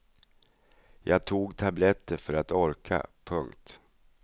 Jag tog tabletter för att orka. punkt